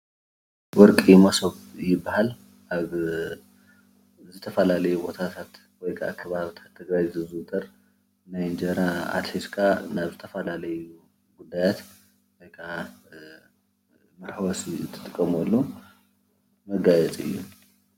ወርቂ መሶብ ይባሃል፡፡ ኣብ ዝተፈላለዩ ቦታታት ወይ ከዓ ከባቢታት ትግራይ ዝዝውተር ናይ እንጀራ ኣትሒዝካ ናብ ዝተፈላለዩ ጉዳያት ወይ ከዓ መሕወሲ እትጥቀመሉ መጋየፂ እዩ፡፡